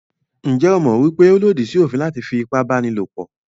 Njẹ́ o mọ̀ wípé ó lòdì sí òfin láti fí ipábánilòpọ̀?